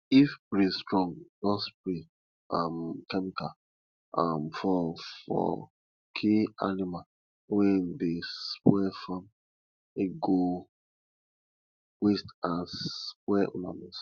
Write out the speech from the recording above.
if breeze strong no spray um chemical um for for kill animals wey dey spoil farm e go waste and spoil una nose